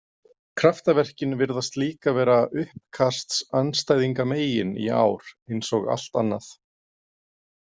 Kraftaverkin virðast líka vera uppkastsandstæðingamegin í ár, eins og allt annað.